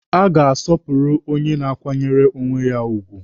A ga-asọpụrụ onye na-akwanyere onwe ya ugwu.